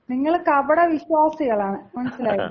നിങ്ങള് കപട വിശ്വാസികളാണ്. മനസിലായില്ലേ?